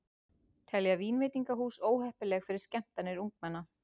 Telja vínveitingahús óheppileg fyrir skemmtanir ungmenna